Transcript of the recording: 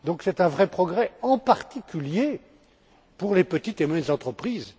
C'est un vrai progrès, en particulier, pour les petites et moyennes entreprises.